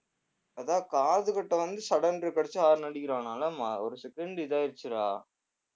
அதான் காதுகிட்ட வந்து sudden break அடிச்சு horn அடிக்கிறான் மா~ ஒரு second இதாயிடுச்சுடா